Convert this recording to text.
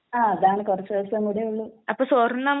ങാ..അതാണ് കുറച്ചു ദിവസം കൂടെ ഉള്ളൂ...